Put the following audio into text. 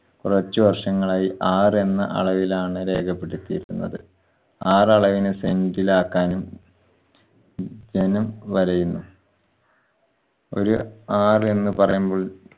കുറച്ച് വർഷങ്ങളായി ആർ എന്ന അളവിലാണ് രേഖപ്പെടുത്തിയിരുന്നത്. ആറളവിന് cent ഇലാക്കാനും ജനം വലയുന്നു. ഒരു ആർ എന്ന് പറയുമ്പോൾ